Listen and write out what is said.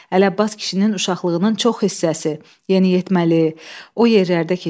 Ələbbas kişinin uşaqlığının çox hissəsi, yeniyetməliyi o yerlərdə keçmişdi.